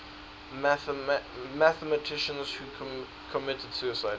mathematicians who committed suicide